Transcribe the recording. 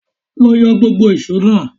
Lọ yọ gbógbo ìṣó náà!